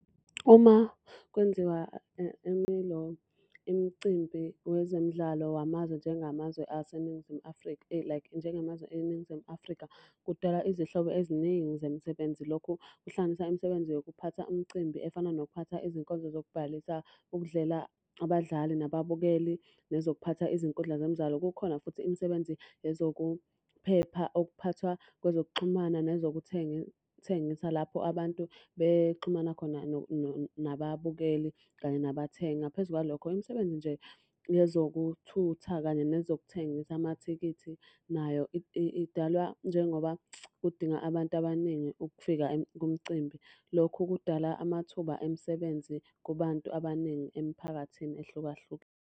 Uma kwenziwa imicimbi wezemidlalo wamazwe njengamazwe aseNingizimu Afrika like njengamazwe eNingizimu Afrika, kudala izihlobo eziningi zemisebenzi. Lokhu kuhlanganisa imisebenzi yokuphatha umcimbi efana nokuphatha izinkonzo zokubhalisa ukudlela abadlali nababukeli, nezokuphatha izinkundla zemidlalo. Kukhona futhi imisebenzi yezokuphepha okuphathwa kwezokuxhumana nezokuthengisa lapho abantu bexhumana khona nababukeli kanye nabathengi. Ngaphezu kwalokho, imisebenzi nje yezokuthutha kanye nezokuthengisa amathikithi nayo idalwa njengoba udinga abantu abaningi ukufika kumcimbi. Lokhu kudala amathuba emisebenzi kubantu abaningi emiphakathini ehlukahlukene.